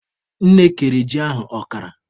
Nne kere ji ahụ ọkara.